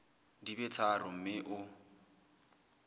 di be tharo mme o